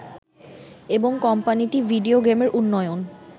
এবং কোম্পানিটি ভিডিও গেমের উন্নয়ন